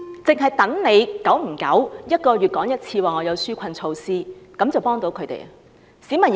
只等政府每個月說有紓困措施，便幫到市民？